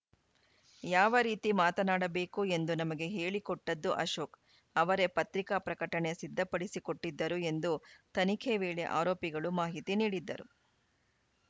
ಯಾವ ರೀತಿ ಮಾತನಾಡಬೇಕು ಎಂದು ನಮಗೆ ಹೇಳಿಕೊಟ್ಟಿದ್ದು ಅಶೋಕ್‌ ಅವರೇ ಪತ್ರಿಕಾ ಪ್ರಕಟಣೆ ಸಿದ್ಧಪಡಿಸಿಕೊಟ್ಟಿದ್ದರು ಎಂದು ತನಿಖೆ ವೇಳೆ ಆರೋಪಿಗಳು ಮಾಹಿತಿ ನೀಡಿದ್ದರು